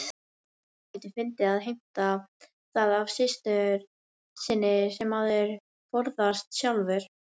Dálítið fyndið að heimta það af systur sinni sem maður forðast sjálfur.